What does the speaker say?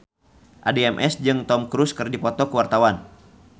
Addie MS jeung Tom Cruise keur dipoto ku wartawan